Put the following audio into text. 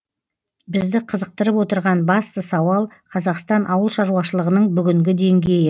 бізді қызықтырып отырған басты сауал қазақстан ауыл шаруашылығының бүгінгі деңгейі